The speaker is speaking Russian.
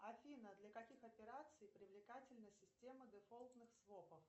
афина для каких операций привлекательна система дефолтных свопов